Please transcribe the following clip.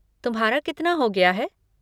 तुम्हारा कितना हो गया है?